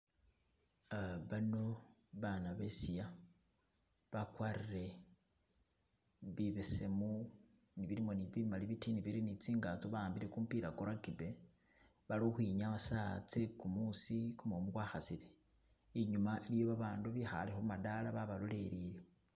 Ah baano, abaana besiiya, bakwarire bibesemu bilimo ne bimali bitini biri ne tsingato bawambile kumupila kwo rugby bali ukhwinyaya sawa tse kumuusi kumumu kwa khasile , inyuma iliyo babandu bikhale khu madaala babalolelele